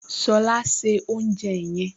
Ṣọlá se oúnjẹ yẹn!